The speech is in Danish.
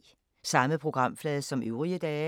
Samme programflade som øvrige dage